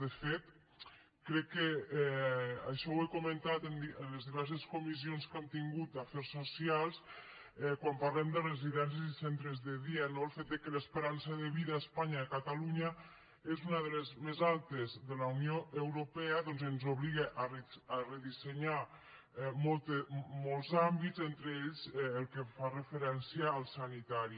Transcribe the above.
de fet crec que això ho he comentat en les diverses comissions que hem tingut d’afers socials quan parlem de residències i centres de dia no el fet que l’esperança de vida a espanya i a catalunya és una de les més altes de la unió europea doncs ens obliga a redissenyar molts àmbits entre ells el que fa referència al sanitari